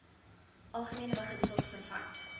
algemene beginsels vervat